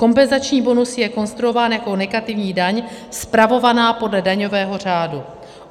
Kompenzační bonus je konstruován jako negativní daň spravovaná podle daňového řádu.